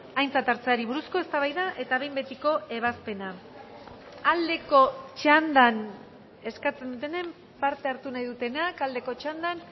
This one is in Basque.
aintzat hartzeari buruzko eztabaida eta behin betiko ebazpena aldeko txandan eskatzen dutenen parte hartu nahi dutenak aldeko txandan